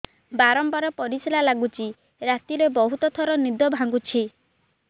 ବାରମ୍ବାର ପରିଶ୍ରା ଲାଗୁଚି ରାତିରେ ବହୁତ ଥର ନିଦ ଭାଙ୍ଗୁଛି